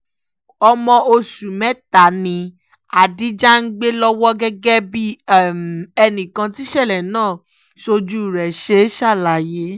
ọmọ oṣù mẹ́ta ni adija ń gbé lọ́wọ́ gẹ́gẹ́ bí ẹnìkan tíṣẹ̀lẹ̀ náà sójú rẹ̀ ṣe ṣàlàyé